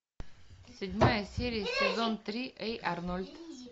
седьмая серия сезон три эй арнольд